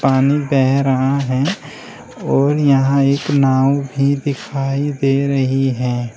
पानी बह रहा है और यहां एक नाव भी दिखाई दे रही है।